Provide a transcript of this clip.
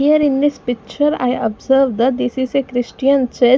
Here in this picture I observed that this is a Christian church.